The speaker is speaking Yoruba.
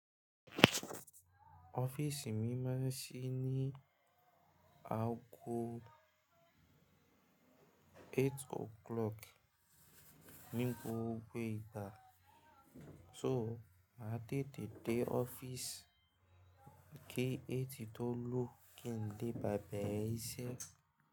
Office mi máa ń ṣí ní aago eight o'clock ní gbogbo ìgbà, so máa tètè dé office kí eight tó lu kin le bá bẹ̀rẹ̀ iṣẹ́.